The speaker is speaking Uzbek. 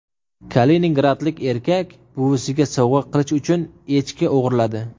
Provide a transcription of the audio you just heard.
Kaliningradlik erkak buvisiga sovg‘a qilish uchun echki o‘g‘irladi.